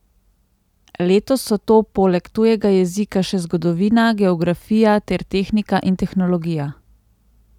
Letos so to poleg tujega jezika še zgodovina, geografija ter tehnika in tehnologija.